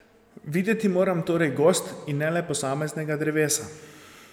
Videti moram torej gozd in ne le posameznega drevesa.